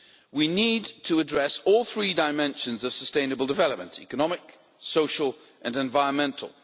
We need to address all three dimensions of sustainable development economic, social and environmental.